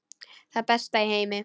Það besta í heimi.